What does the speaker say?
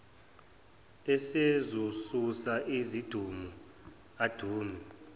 esezosusa izidumo adume